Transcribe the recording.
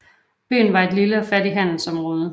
Byen var et lille og fattigt handelsområde